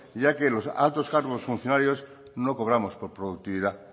ya que los altos cargos funcionarios no cobramos por productividad